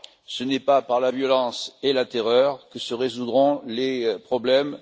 Ce n'est pas par la violence et la terreur que se résoudront les problèmes.